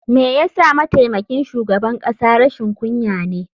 Me yasa mataimakin shugaban kasa rashin kunya ne?